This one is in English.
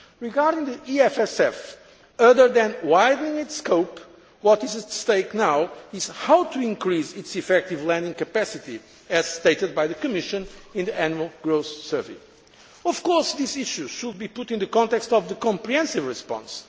Regarding the EFSF, other than widening its scope, what is at stake now is how to increase its effective lending capacity as stated by the Commission in the Annual Growth Survey. Of course, this issue should be put in the context of the comprehensive response.